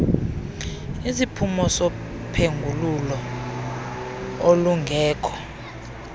isiphumo sophengululo olungekho